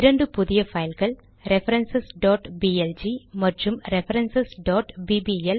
இரண்டு புதிய பைல்கள் ரெஃபரன்ஸ் blg மற்றும் ரெஃபரன்ஸ் bbl